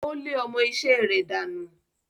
Ó lé ọmọ-isẹ́ rẹ̀ dànù.